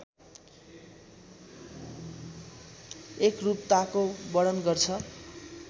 एकरूपताको वर्णन गर्छ